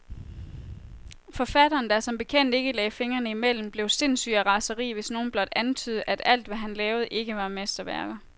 Forfatteren, der som bekendt ikke lagde fingrene imellem, blev sindssyg af raseri, hvis nogen blot antydede, at alt, hvad han lavede, ikke var mesterværker.